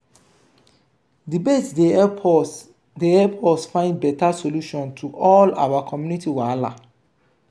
debates dey help us dey help us find beta solution to all our community wahala.